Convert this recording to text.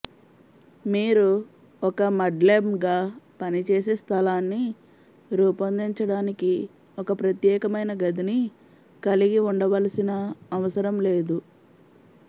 మీరు ఒక మడ్లెమ్గా పనిచేసే స్థలాన్ని రూపొందించడానికి ఒక ప్రత్యేకమైన గదిని కలిగి ఉండవలసిన అవసరం లేదు